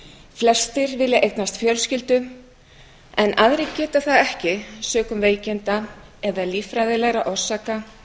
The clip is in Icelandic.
flestir vilja eignast fjölskyldu en aðrir geta það ekki sökum veikinda eða líffræðilegra orsaka